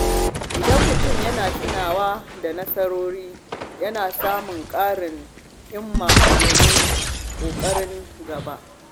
Idan mutum yana yawan tunawa da nasarorinsa, yana samun ƙarin himma domin ƙoƙarin gaba.